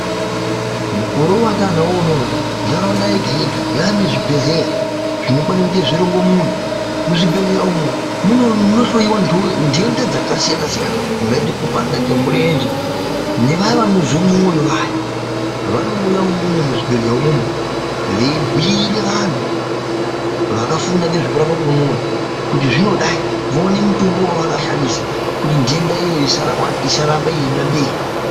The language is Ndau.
Mukore wataanawo unono ntaraunda yega-yega yaanezvibhehleya zvinokwane kuite zviringomuna. Muzvibhedhlera umwu munohloyiwa ndenda dzakasiyana-siyana. Kungaite kupanda kwemurenje. Nevaya vanozwe mwoyo vaya vanouya imwomwo muzvibhehleya umwomwo, veibhuire vantu vakafunda ngezvekurapwa kwemwoyo kuti zvinodai. Voone mutombo wavanoisa kuti ndenda iyoyo isaramba yeienda mberi.